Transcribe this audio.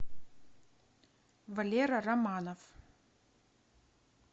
валера романов